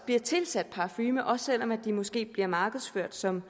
bliver tilsat parfume også selv om de måske bliver markedsført som